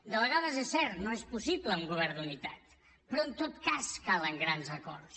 de vegades és cert no és possible un govern d’unitat però en tot cas calen grans acords